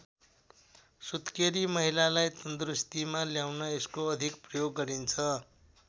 सुत्केरी महिलालाई तन्दुरुस्तीमा ल्याउन यसको अधिक प्रयोग गरिन्छ।